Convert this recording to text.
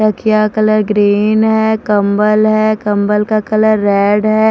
रखिया colour green है कंबल है कंबल का कलर रेड है।